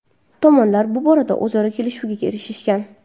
Tomonlar bu borada o‘zaro kelishuvga erishishgan.